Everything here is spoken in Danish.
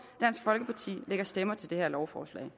dansk folkeparti lægger stemmer til det her lovforslag